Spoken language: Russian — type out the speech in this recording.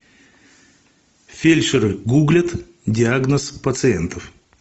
фельдшеры гуглят диагноз пациентов